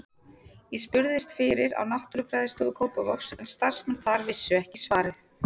Ég spurðist fyrir á Náttúrufræðistofu Kópavogs en starfsmenn þar vissu ekki svarið.